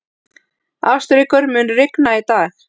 Ástríkur, mun rigna í dag?